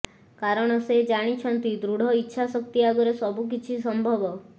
କାରଣ ସେ ଜାଣିଛନ୍ତି ଦୃଢ ଇଚ୍ଛା ଶକ୍ତି ଆଗରେ ସବୁକିଛି ସମ୍ଭବ